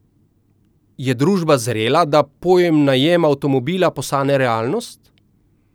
Je družba zrela, da pojem najem avtomobila postane realnost?